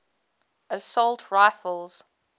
assault rifles